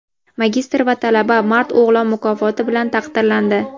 magistr va talaba "Mard o‘g‘lon" mukofoti bilan taqdirlandi.